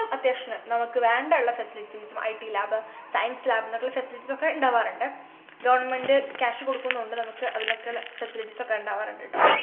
അത്യാവശ്യത്തിനു നമ്മക്ക് വേണ്ട ഉള്ള facilities gitlab science lab ന്നു പറഞ്ഞിട്ടുള്ള facilities ഒക്കെ ഇണ്ടാവാറുണ്ട് government cash കൊടുക്കുന്നോണ്ട് നമ്മുക്ക് അതിനൊക്കെയുള്ള facilities ഒക്കെ ഉണ്ടാവാറുണ്ട് ട്ടോ